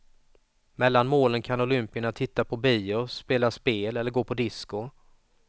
Mellan målen kan olympierna titta på bio, spela spel eller gå på disco.